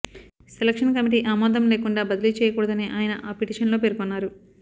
selection committee ఆమోదం లేకుండా బదిలీ చేయకూడదని ఆయన ఆ పిటిషన్లో పేర్కొన్నారు